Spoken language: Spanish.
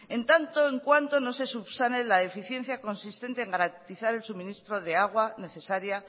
en tanto en cuanto no se subsane la deficiencia consistente en garantizar el suministro de agua necesaria